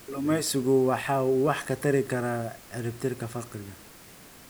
Kalluumaysigu waxa uu wax ka tari karaa ciribtirka faqriga.